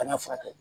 Bana furakɛ